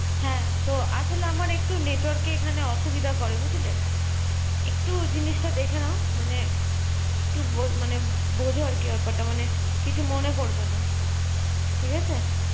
হ্যাঁ তো আসলে আমার একটু network এ এখানে অসুবিধা করে বুঝলে। একটু জিনিসটা দেখে নাও মানে একটু মানে বোঝো আরকি ব্যাপারটা মানে কিছু মনে করবেনা। ঠিক আছে?